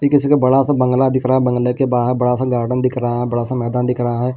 किसी का बड़ा सा बंगला दिख रहा है बंगले के बाहर बड़ा सा गार्डन दिख रहा है बड़ा सा मैदान दिख रहा है।